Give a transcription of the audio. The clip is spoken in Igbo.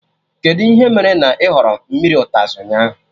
Kedụ ihe mere na ị họrọ mmiri ụtazị ụnyaahụ?